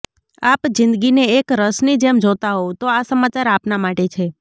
આપ જિંદગીને એક રસની જેમ જોતા હોવ તો આ સમચાર આપના માટે છે